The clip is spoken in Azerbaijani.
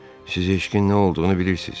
Siz eşqin nə olduğunu bilirsiz.